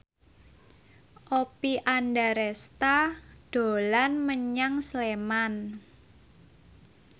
Oppie Andaresta dolan menyang Sleman